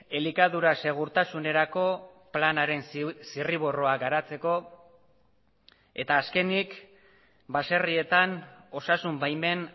elikadura segurtasunerako planaren zirriborroa garatzeko eta azkenik baserrietan osasun baimen